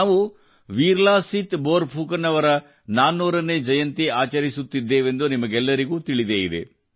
ನಾವು ವೀರ ಲಾಸಿತ್ ಬೋರ್ ಫುಕನ್ ಅವರ 400 ನೇ ಜಯಂತಿ ಆಚರಿಸುತ್ತಿದ್ದೇವೆಂದು ನಿಮಗೆಲ್ಲರಿಗೂ ತಿಳಿದೇ ಇದೆ